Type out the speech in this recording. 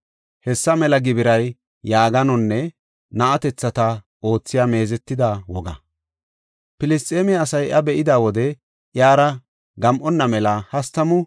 Filisxeeme asay iya be7ida wode iyara gam7ana mela hastamu na7atethata dooridi yeddidosona.